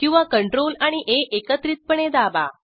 किंवा CTRL आणि आ एकत्रितपणे दाबा